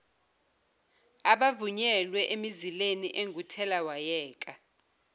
abavunyelwe emizileni enguthelawayeka